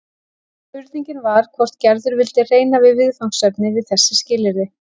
Spurningin var hvort Gerður vildi reyna við viðfangsefnið við þessi skilyrði.